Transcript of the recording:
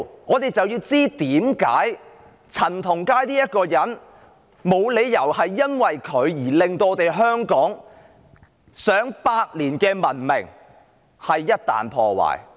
我們要知道陳同佳這人為甚麼會令香港上百年的文明毀於一旦。